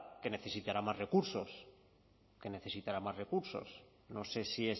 que necesitará más recursos que necesitará más recursos no sé si